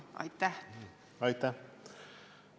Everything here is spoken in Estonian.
Aitäh!